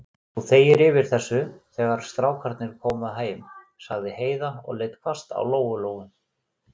Þú þegir yfir þessu, þegar strákarnir koma heim, sagði Heiða og leit hvasst á Lóu-Lóu.